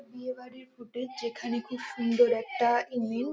বিয়ে বাড়ির ফুটেজ যেখানে খুব সুন্দর একটা ইমিউন ।